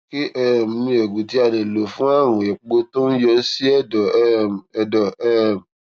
kí um ni oògùn tí a lè lò fún àrùn éèpo tó ń yọ sí èdò um èdò um